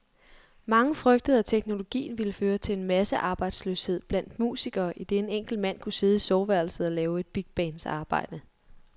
Mange frygtede, at teknologien ville føre til massearbejdsløshed blandt musikere, idet en enkelt mand kunne sidde i soveværelset og lave et bigbands arbejde.